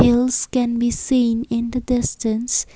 hills can be seen in the distance.